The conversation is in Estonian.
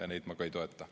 Neid ma ka ei toeta.